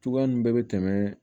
Cogoya ninnu bɛɛ bɛ tɛmɛ